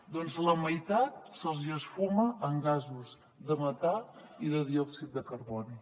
doncs la meitat se’ls hi esfuma en gasos de metà i de diòxid de carboni